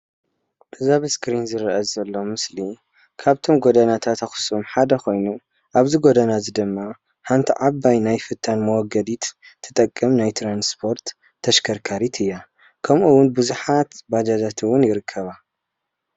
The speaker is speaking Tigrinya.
እዚ ኣብ እስክሪን ዝረአ ዘሎ ምስሊ ካብተን ጎደናታት ኣክሱም ሓደ ኮይኑ አብዚ ጎደና እዚ ድማ ሓንቲ ዓባይ ናይ ፍታን መወገዲት ትጠቅም ትራንስፖርት ተሽከርካሪት እያ። ከምኡ እውን ቡዙሓት ባጃታት እውን ይርከበኦም።